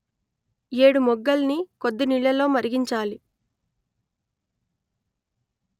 ఏడుమొగ్గల్ని కొద్దినీళ్ళలో మరిగించాలి